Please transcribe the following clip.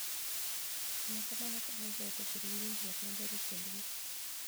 Timo kamano konyo joot obed gi winjruok maber e kindgi.